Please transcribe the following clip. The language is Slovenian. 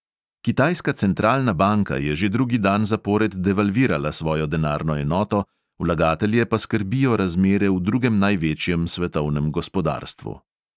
Kitajska centralna banka je že drugi dan zapored devalvirala svojo denarno enoto, vlagatelje pa skrbijo razmere v drugem največjem svetovnem gospodarstvu.